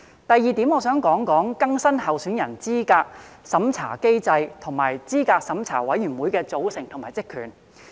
第二點，我想談談更新候選人資格審查機制，以及資審會的組成及職權。